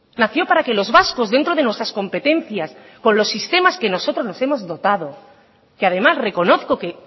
nació para que los vascos dentro de nuestras competencias con los sistemas que nosotros nos hemos dotado que además reconozco que